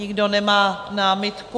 Nikdo nemá námitku.